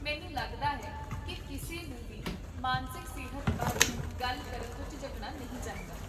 ਮੈਨੂੰ ਲੱਗਦਾ ਹੈ ਕੀ ਕਿਸੇ ਨੂੰ ਵੀ ਮਾਨਸਿਕ ਸਿਹਤ ਬਾਰੇ ਗੱਲ ਕਰਨ ਤੋਂ ਝਿਜਕਣਾ ਨਹੀਂ ਚਾਹੀਦਾ